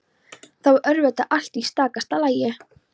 Þá er auðvitað allt í stakasta lagi!